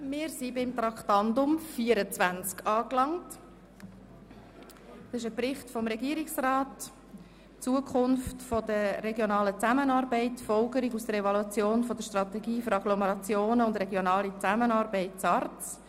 Wir sind bei Traktandum 24 angelangt, dem Bericht des Regierungsrats über die Zukunft der regionalen Zusammenarbeit (SARZ).